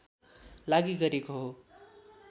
लागि गरिएको हो